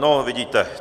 No vidíte.